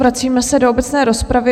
Vracíme se do obecné rozpravy.